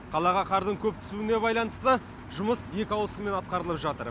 қалаға қардың көп түсуіне байланысты жұмыс екі ауысыммен атқарылып жатыр